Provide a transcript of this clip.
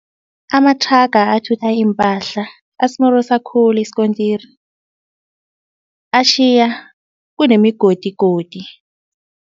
Amathraga athutha iimpahla asimorosa khulu isikontiri. Atjhiya kunemigodigodi.